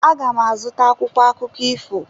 Aga m azụta akwụkwọ akụkọ echi.